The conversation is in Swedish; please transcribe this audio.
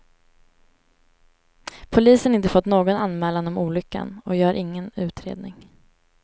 Polisen har inte fått någon anmälan om olyckan och gör ingen utredning.